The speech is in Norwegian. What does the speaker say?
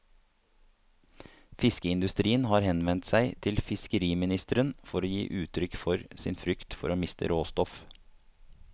Fiskeindustrien har henvendt seg til fiskeriministeren for å gi uttrykk for sin frykt for å miste råstoff.